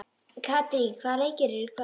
Katrín, hvaða leikir eru í kvöld?